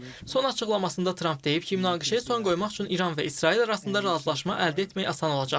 Son açıqlamasında Tramp deyib ki, münaqişəyə son qoymaq üçün İran və İsrail arasında razılaşma əldə etmək asan olacaq.